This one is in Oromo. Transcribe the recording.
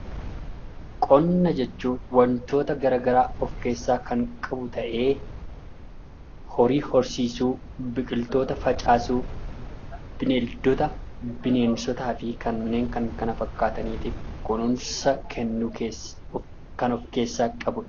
Qonna jechuun wantoota garaagaraa of keessaa kan qabu ta'ee, horii horsiisuu, biqiltoota facaasuu, bineeldota, bineensotaa fi kanneen kan kana fakkaataniif kunuunsa kennuu kan of keessaa qabudha.